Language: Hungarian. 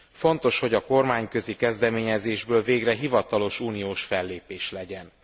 Fontos, hogy a kormányközi kezdeményezésből végre hivatalos uniós fellépés legyen.